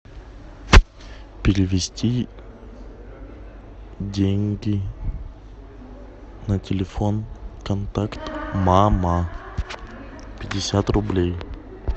перевести деньги на телефон контакт мама пятьдесят рублей